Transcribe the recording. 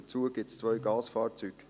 Daneben gibt es zwei Gasfahrzeuge.